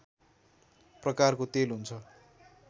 प्रकारको तेल हुन्छ